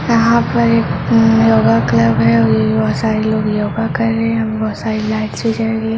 यहाँ पे एक अ योगा क्लब है और बहुत सारे लोग योगा कर रहें हैं बहुत सारी लाइट्स भी जल रही है।